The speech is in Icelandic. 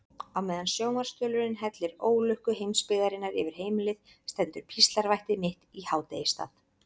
Á meðan sjónvarpsþulurinn hellir ólukku heimsbyggðarinnar yfir heimilið stendur píslarvætti mitt í hádegisstað.